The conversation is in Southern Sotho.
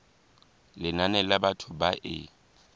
lenane la batho ba e